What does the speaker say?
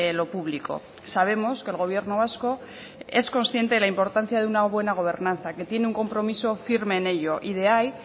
lo público sabemos que el gobierno vasco es consciente de la importancia de una buena gobernanza que tiene un compromiso firme en ello y de ahí